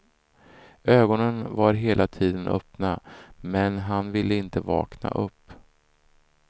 Ögonen var hela tiden öppna, men han ville inte vakna upp.